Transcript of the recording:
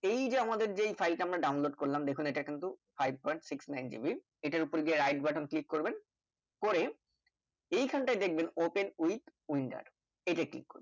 এই যে আমাদের যে এই file টা download করলাম দেখুন এটা কিন্তু five point six nine gb এটার উপর দিয়ে Right button click করবেন পরে এই খানটায় দেখবেন Open with windows । সেইটা click করবেন